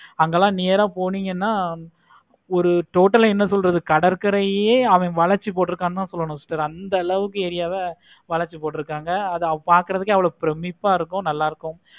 அங்கலாம் near ஆஹ் போனீங்கன்னா ஒரு total ஆஹ் என்ன சொல்றது கடற்கரையை அவன் வளைச்சி போட்டிருக்கான் தான் சொல்லணும் sister அந்த அளவுக்கு area வளைச்சி போட்டுருக்காங்க அத பார்க்கவே பிரமிப்பா இருக்கு. நல்லாருக்கு.